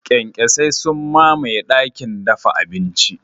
Kyankyasai sun mamaye dakin dafa abinci.